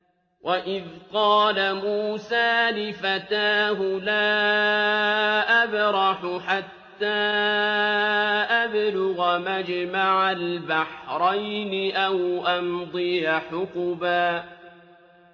وَإِذْ قَالَ مُوسَىٰ لِفَتَاهُ لَا أَبْرَحُ حَتَّىٰ أَبْلُغَ مَجْمَعَ الْبَحْرَيْنِ أَوْ أَمْضِيَ حُقُبًا